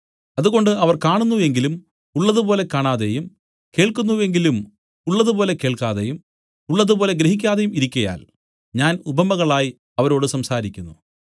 അതുകൊണ്ട് അവർ കാണുന്നു എങ്കിലും ഉള്ളതുപോലെ കാണാതെയും കേൾക്കുന്നു എങ്കിലും ഉള്ളതുപോലെ കേൾക്കാതെയും ഉള്ളതുപോലെ ഗ്രഹിക്കാതെയും ഇരിക്കയാൽ ഞാൻ ഉപമകളായി അവരോട് സംസാരിക്കുന്നു